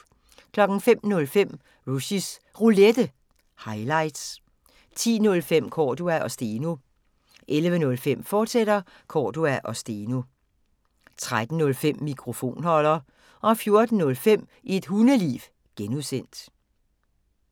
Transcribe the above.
05:05: Rushys Roulette – highlights 10:05: Cordua & Steno 11:05: Cordua & Steno, fortsat 13:05: Mikrofonholder 14:05: Et Hundeliv (G)